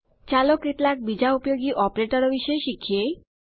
ચાલો કેટલાક બીજાં ઉપયોગી ઓપરેટરો વિશે શીખીએ